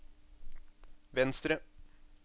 venstre